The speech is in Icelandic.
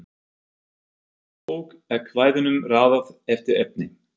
Í Konungsbók er kvæðunum raðað eftir efni.